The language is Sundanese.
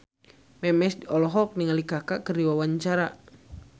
Memes olohok ningali Kaka keur diwawancara